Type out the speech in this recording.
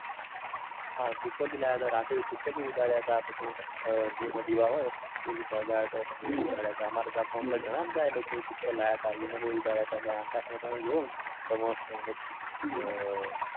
હા તુક્કલ બી લાવ્યા તા રાત્રે પછી તુક્કલ બી ઉડાડ્યા તા. પછી ધીમા દિવા હોય એ પણ સળગાવ્યો તો માર ગામ માં ઘણા બધા લોકોએ તુક્કલ લાવ્યા તા. એને પહી ઉડાડ્યા તા. અને આકાશમાં તમે જોવોને તો મસ્ટ એમ મસ્ટ